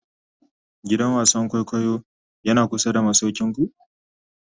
gidan wasan kwaikwayo Yana kusa da masaukinku?